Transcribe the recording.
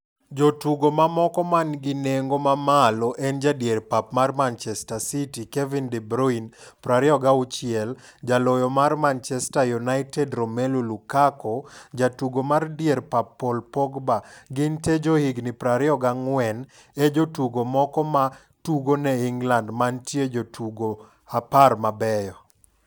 Jotugo moko manigi nengo ma malo en jadier pap mar Manchester City Kevin de Bruyne, 26, jaloyo mar Manchester United Romelu Lukaku jatugo mar dier pap Paul Pogba, gintee johigni 24, e jotugo moko ma tugone England mantie jotugo 10 mabeyo.